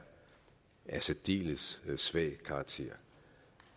af særdeles svag karakter